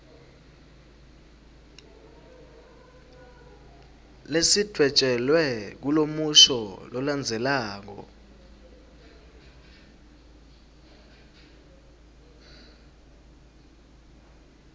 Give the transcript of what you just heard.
lesidvwetjelwe kulomusho lolandzelako